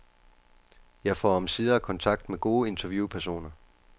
Jeg får omsider kontakt med gode interviewpersoner.